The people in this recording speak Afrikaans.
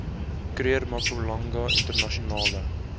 kruger mpumalanga internasionale